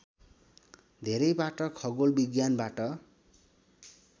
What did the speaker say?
धेरैबाट खगोल विज्ञानबाट